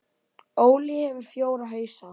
Óli hefur fjóra hausa.